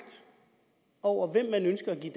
over hvem man ønsker at give